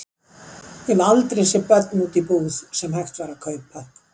Ég hafði aldrei séð börn úti í búð sem hægt var að kaupa.